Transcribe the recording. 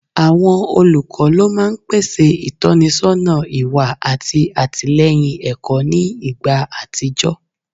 Awọn olukọ lo maa n pese itọnisọna iwa ati atilẹyin ẹkọ ni igba atijọ